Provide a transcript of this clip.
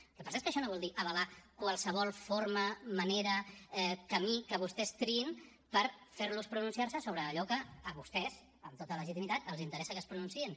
el que passa és que això no vol dir avalar qualsevol forma manera camí que vostès triïn per fer los pronunciar se sobre allò que a vostès amb tota legitimitat els interessa que es pronunciïn